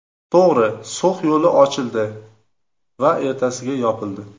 To‘g‘ri, So‘x yo‘li ochildi va ertasiga yopildi.